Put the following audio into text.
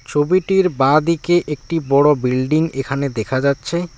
ছবিটির বাঁদিকে একটি বড়ো বিল্ডিং এখানে দেখা যাচ্ছে।